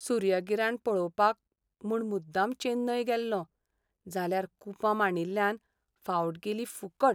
सूर्यगिराण पळोवपाक म्हूण मुद्दाम चेन्नय गेल्लों, जाल्यार कुपां मांडिल्ल्यान फावट गेली फुकट!